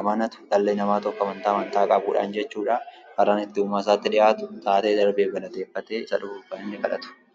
amanatu dhalli namaa tokko amantaa qabuudhaan jechuudha; karaa ittii uumaa isaatti dhiyaatu, taatee darbeef galateeffatee, isa dhufuuf kan inni kadhatudha.